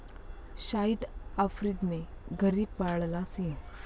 शाहिद आफ्रिदीने घरी पाळला सिंह?